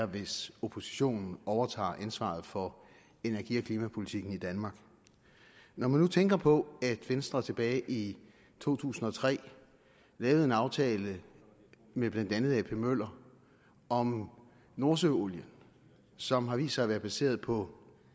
hvis oppositionen overtager ansvaret for energi og klimapolitikken i danmark når man nu tænker på at venstre tilbage i to tusind og tre lavede en aftale med blandt andet ap møller om nordsøolien som har vist sig at være baseret på